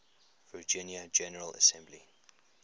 virginia general assembly